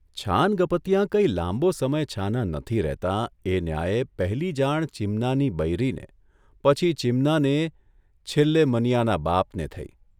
છાનગપતિયાં કઇ લાંબો સમય છાનાં નથી રહેતાં એ ન્યાયે પહેલી જાણ ચીમનાની બૈરીને, પછી ચીમનાને છેલ્લે મનીયાના બાપને થઇ.